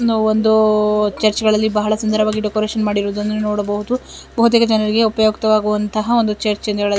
ನಾವು ಒಂದು ಚೆರ್ಚ್ ಗಳಲ್ಲಿ ಬಹಲ್ ಸುಂದರ ವಾಗಿ ಡೆಕೋರೇಷನ್ ಮಾಡಿರೋದನ್ನ ನೋಡಬಹುದು ಬಾವುತೇಕ ಜನರಿಗೆ ಉಪಯುಕ್ತ ವಾಗುವಂತಹ ಒಂದು ಚೆರ್ಚ್ ಅಂತ ಹೇಳಬಹುದು.